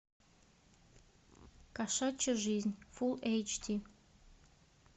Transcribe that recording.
кошачья жизнь фулл эйч ди